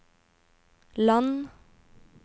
land